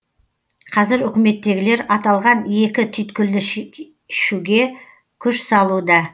қазір үкіметтегілер аталған екі түйткілді шешуге күш салуда